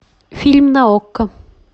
фильм на окко